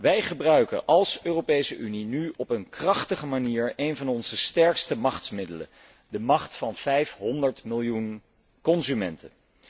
Wij gebruiken als Europese Unie nu op een krachtige manier een van onze sterkste machtsmiddelen, de macht van 500 miljoen consumenten.